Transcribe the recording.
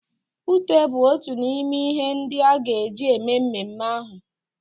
Ute bụ otu n'ime n'ihe ndị a ga-eji eme mmeme ahụ.